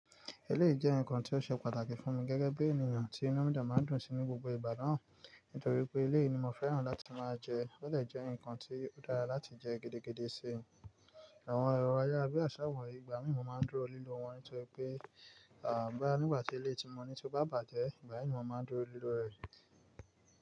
Éléyì jẹ́ ǹkan tí ó ṣe pàtàkì fún mi gẹ́gẹ́ bí ènìyàn tí inu mìí dé máa ń dùn sí ní gbogbo ìgbà náà, nítorí pé éléyì ni mo fẹ́ràn láti máa jẹ, ó de jẹ́ ǹkan tí ó dára láti jẹ gidigidi sí, àwọn ẹrọ ayárabíàṣá wọ̀nyí ìgbà mìí mo máa ń dúró lílọ̀ wọ́n, nítorí pé boya nígbà tí éléyì ti mọ́ ni tí ó bá bàjẹ́, ìgbà yi ni mo máa ń dúró lílọ̀ rẹ̀